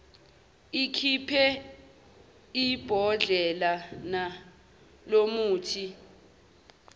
ikhiphe ibhodlelana lomuthi